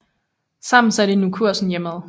Sammen satte de nu kursen hjemad